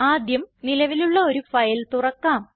ആദ്യം നിലവിലുള്ള ഒരു ഫയൽ തുറക്കാം